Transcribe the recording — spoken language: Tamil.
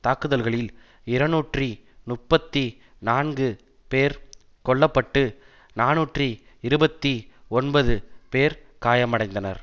தாக்குதல்களில் இருநூற்றி முப்பத்தி நான்கு பேர் கொல்ல பட்டு நாநூற்று இருபத்தி ஒன்பது பேர் காயமடைந்தனர்